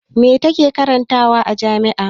Me ta ke karantawa a jami'a?